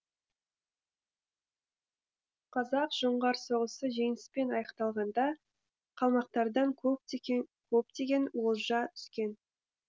қазақ жоңғар соғысы жеңіспен аяқталғанда қалмақтардан көптеген олжа түскен